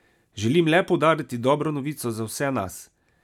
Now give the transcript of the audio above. Želim le poudariti dobro novico za vse nas.